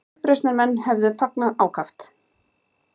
Uppreisnarmenn hefðu fagnað ákaft